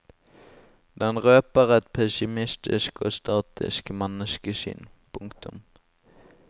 Den røper et pessimistisk og statisk menneskesyn. punktum